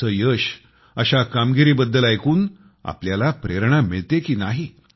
असे यश अशा कामगिरीबद्दल ऐकून आपल्याला प्रेरणा मिळते की नाही